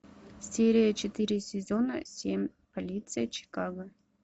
серия четыре сезона семь полиция чикаго